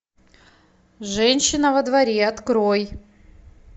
женщина во дворе открой